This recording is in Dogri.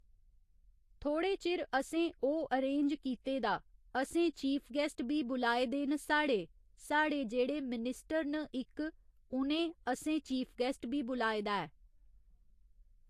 थोह्ड़े चिर असें ओह् अरेन्ज कीते दा असें चीफ गेस्ट बी बुलाए दे न साढ़े, साढ़े जेह्ड़े मिनिस्टर न इक उनें असें चीफ गेस्ट बी बुलाए दा ऐ